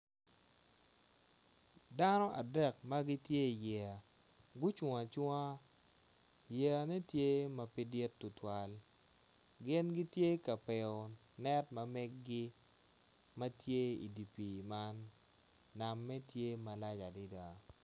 Dano adek magitye i yeya gucung acunga, yeya ne tye pe dit tutuwal gin gitye ka piko net ma megi matye i di pi man nam me tye malac adada.